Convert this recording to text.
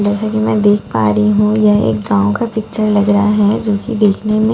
जैसे कि मैं देख पा रही हूं यह एक गांव का पिक्चर लग रहा है जो कि देखने में--